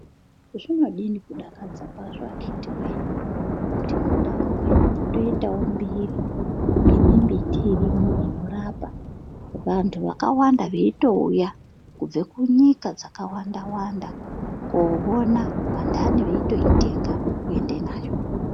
Zvinodini kudakadza kwazvo akitiwoye kuti mundau mwenyu motoitawo mbiri yemimbiti irimwo inorapa vantu vakawanda veitouya kubve kunyika dzakawanda wanda koona vantani veitoitenga kuenda nayo.